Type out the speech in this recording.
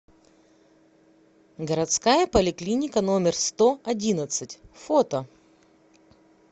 городская поликлиника номер сто одиннадцать фото